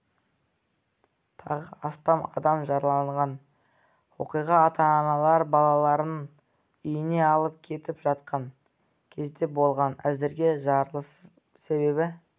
тағы астам адам жараланған оқиға ата-аналар балаларын үйіне алып кетіп жатқан кезде болған әзірге жарылыс себебі